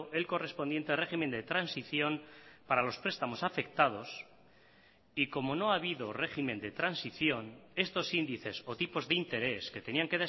el correspondiente régimen de transición para los prestamos afectados y como no ha habido régimen de transición estos índices o tipos de interés que tenían